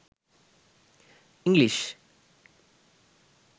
english